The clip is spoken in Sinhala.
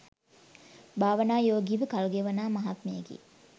භාවනා යෝගීව කල්ගෙවනා මහත්මයෙකි.